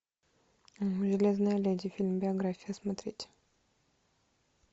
железная леди фильм биография смотреть